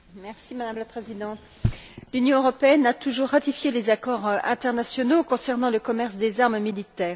Madame la Présidente, l'Union européenne a toujours ratifié les accords internationaux concernant le commerce des armes militaires.